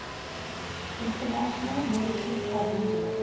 international military tribunal